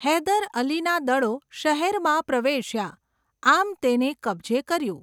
હૈદર અલીના દળો શહેરમાં પ્રવેશ્યા, આમ તેને કબજે કર્યું.